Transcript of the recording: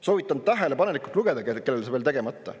Soovitan tähelepanelikult lugeda, kellel see veel tegemata.